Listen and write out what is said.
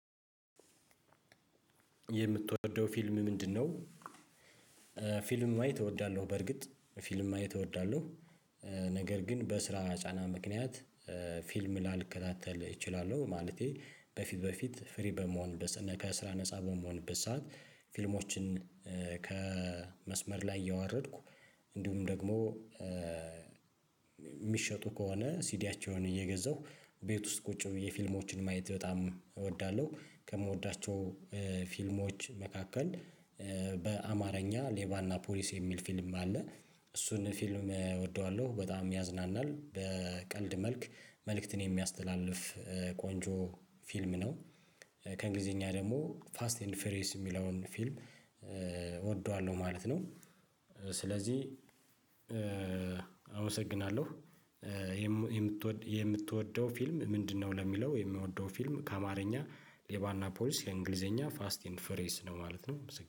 የምትወደው ፊልም ምንድነው? ፊልም ማየት እወዳለሁ በርግጥ ፊልም ማየት እወዳለሁ። ነገር ግን በስራ ጫና ምክንያት ፊልም ላልከታተል እችላለሁ። ማለቴ በፊት በፊት ፍሪ በመሆን ከስራ ነፃ በመሆንበት ሰዓት። ፊልሞችን ከመስመር ላይ እያዋረድኩ እንዲሁም ደግሞ የሚሸጡ ከሆነ ሲዲያቸውን እየገዛሁ ቤት ውስጥ ቁጭ ብዬ ፊልሞችን ማየት በጣም እወዳለሁ። ከምወዳቸው ፊልሞች መካከል በአማርኛ ሌባና ፖሊስ የሚል ፊልም አለ። እሱን ፊልም እወደዋለሁ በጣም ያዝናናል በቀልድ መልክ መልእክትን የሚያስተላልፍ ቆንጆ ፊልም ነው። ከእንግሊዘኛ ደግሞ ፋስት ኤንድ ፍሬስ የሚለውን ፊልም እወደዋለሁ ማለት ነው። ስለዚህ አመሰግናለሁ። የምትወደው ፊልም ምንድነው? ለሚለው የምወደው ፊልም ከአማርኛ ሌባና ፖሊስ የእንግሊዘኛ ፋስት ኤንድ ፍሬስ ነው ማለት ነው